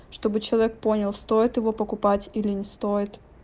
чтобы человек понял стоит его покупать или не стоит